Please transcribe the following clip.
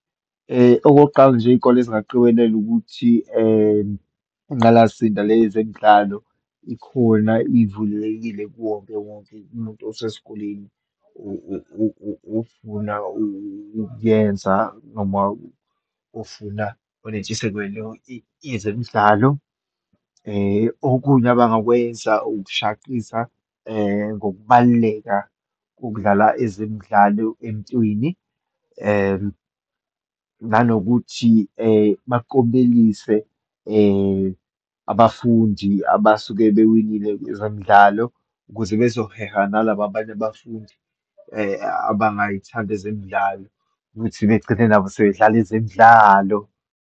Okokuqala nje, iyikole zingaqikelela ukuthi inqalasinda le yezemidlalo ikhona, ivulelekile kuwonkewonke umuntu usesikoleni ofuna ukuyenza, noma ofuna onentshisekelo yezemidlalo. Okunye abangakwenza ukushaqisa ngokubaluleka kokudlala ezemidlalo emntwini, nanokuthi baklomelise abafundi abasuke bewinile kwezemidlalo, ukuze bezoheha nalaba abanye abafundi abangayithandi ezemidlalo ukuthi begcine nabo sebedlala ezemidlalo.